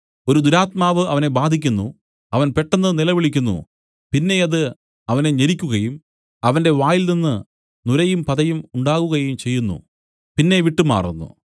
ഒരു ദുരാത്മാവ് അവനെ ബാധിക്കുന്നു അവൻ പെട്ടെന്ന് നിലവിളിക്കുന്നു പിന്നെ അത് അവനെ ഞെരിക്കുകയും അവന്റെ വായിൽനിന്നും നുരയും പതയും ഉണ്ടാകുകയും ചെയ്യുന്നു പിന്നെ വിട്ടുമാറുന്നു